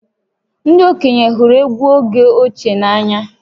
Ndị okenye hụrụ egwú oge ochie n’anya